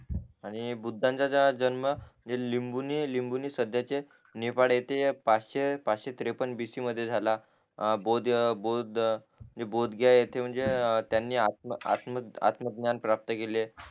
आणि बुद्धांचा जन्म लिम्बुनी लिम्बुनी सध्याचे नेपाळ इथे या पाशे पाश्शे त्रेपन्न मध्ये झाला अं बौद्ध बोदघ्या इथं म्हणजे त्यानी आ आत आत्मज्ञान प्राप्त केले